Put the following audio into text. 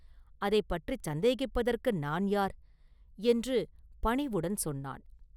அதைப் பற்றிச் சந்தேகிப்பதற்கு நான் யார்?” என்று பணிவுடன் சொன்னான்.